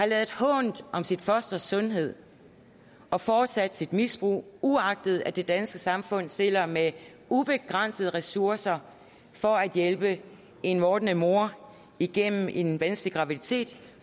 ladet hånt om sit fosters sundhed og fortsat sit misbrug uagtet at det danske samfund stiller med ubegrænsede ressourcer for at hjælpe en vordende mor igennem en vanskelig graviditet